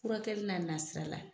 Furakɛli n'a nasira la,